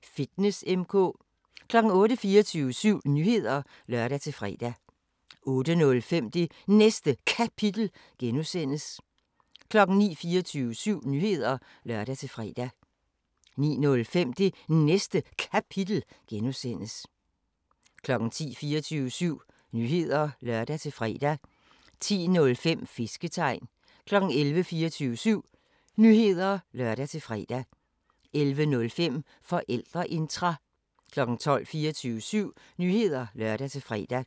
15:00: 24syv Nyheder (lør-fre) 15:05: Stenos Apotek – sammendrag 16:00: 24syv Nyheder (lør-fre) 16:05: RomerRiget (G) 17:00: 24syv Nyheder (lør-fre) 17:05: Flaskens ånd 18:00: 24syv Nyheder (lør-fre) 18:05: Min Lille Hassan 19:00: 24syv Nyheder (lør-fre) 19:05: AK 24syv – altid kultur